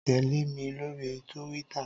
Tèlé mi lóri túwìtá